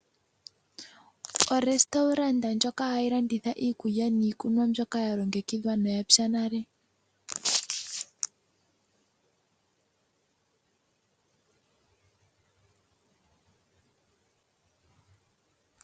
Ositola ndjoka hayi landitha iikulya niikunwa mbyoka yalongekidhwa noyapya nale.